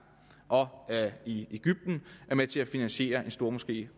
og i ægypten er med til at finansiere en stormoské